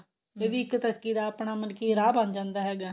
ਇਹ ਵੀ ਇੱਕ ਤਰੱਕੀ ਦਾ ਆਪਣਾ ਮਤਲਬ ਕੀ ਰਾਹ ਬਣ ਜਾਂਦਾ ਹੈਗਾ